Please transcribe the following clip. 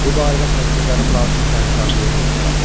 Bu barədə xəzinədarım lazımi sərəncamı yerinə yetirər.